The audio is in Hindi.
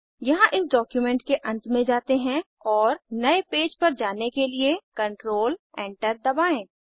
यहाँ इस डॉक्यूमेंट के अंत में जाते हैं और नए पेज पर जाने के लिए कंट्रोल एंटर दबाएं